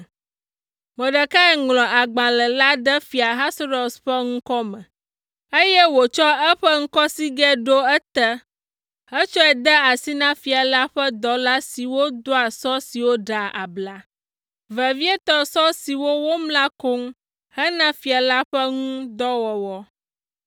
Mordekai ŋlɔ agbalẽ la ɖe Fia Ahasuerus ƒe ŋkɔ me, eye wòtsɔ eƒe ŋkɔsigɛ ɖo ete hetsɔe de asi na fia la ƒe dɔla siwo doa sɔ siwo ɖea abla, vevietɔ sɔ siwo womla koŋ hena fia la ƒe ŋu dɔ wɔwɔ.